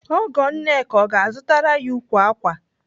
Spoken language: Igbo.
Ọgọ Nneka ọ ga-azụtara ya ukwu ákwà?